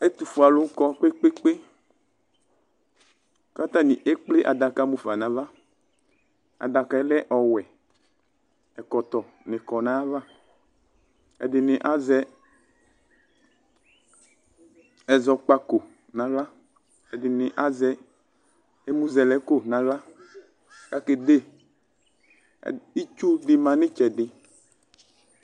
Ɛtʋfue alʋ kɔ kpe kpe kpe kʋ atani ekple adaka mʋfa nʋ ava adaka yɛ lɛ ɔwʋe ɛkɔtɔ ni kɔ nʋ ayava ɛdini azɛ ɛzɔkpako nʋ aɣla ɛdini azɛ ɛmʋzɛlɛko nʋ aɣla kʋ akede itsu di manʋ itsɛdi